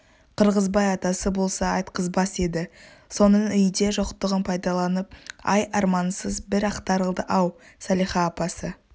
қырғызбай атасы болса айтқызбас еді соның үйде жоқтығын пайдаланып ай армансыз бір ақтарылды-ау салиха апасы